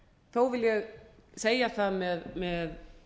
þó vil ég segja það með